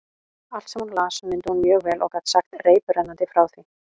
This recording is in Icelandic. Allt, sem hún las, mundi hún mjög vel og gat sagt reiprennandi frá því.